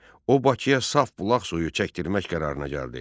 O Bakıya saf bulaq suyu çəkdirmək qərarına gəldi.